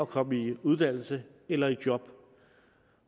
komme i uddannelse eller i job